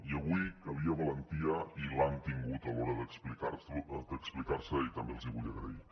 i avui calia valentia i l’han tingut a l’hora d’explicar se i també els hi vull agrair